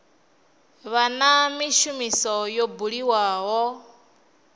vha na mishumo yo buliwaho